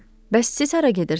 Bəs siz hara gedirsiz?